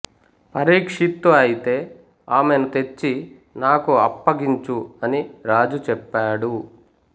పరీక్షిత్తు ఐతే ఆమెను తెచ్చి నాకు అప్పగించు అని రాజు చెప్పాడు